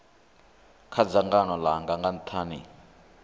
kha dzangano langa nga nthani